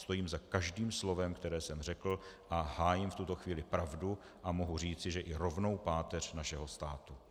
Stojím za každým slovem, které jsem řekl, a hájím v tuto chvíli pravdu a mohu říci, že i rovnou páteř našeho státu.